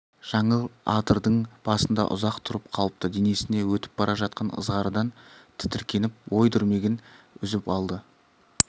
жаңыл адырдың басында ұзақ тұрып қалыпты денесіне өтіп бара жатқан ызғардан тітіркеніп ой дүрмегін үзіп алды